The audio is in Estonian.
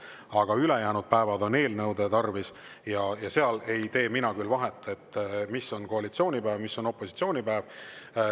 Aga ülejäänud päevad on eelnõude tarvis ja seal ei tee mina küll vahet, mis on koalitsiooni päev, mis on opositsiooni päev.